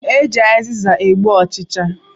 E ji azịza egbu ọ̣chịchị